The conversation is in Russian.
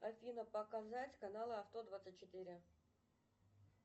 афина показать каналы авто двадцать четыре